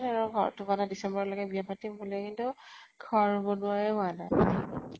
আৰু ঘৰতো বনায় december লৈকে বিয়া পাতিম কিন্তু ঘৰ বনোৱাই হোৱা নাই।